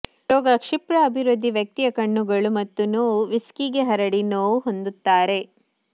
ರೋಗ ಕ್ಷಿಪ್ರ ಅಭಿವೃದ್ಧಿ ವ್ಯಕ್ತಿಯ ಕಣ್ಣುಗಳು ಮತ್ತು ನೋವು ವಿಸ್ಕಿಗೆ ಹರಡಿ ನೋವು ಹೊಂದುತ್ತಾರೆ